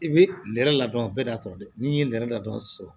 I bɛ nɛrɛ ladɔn bɛɛ datugu n'i ye nɛrɛ ladɔnsi